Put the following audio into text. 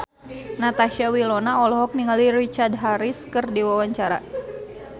Natasha Wilona olohok ningali Richard Harris keur diwawancara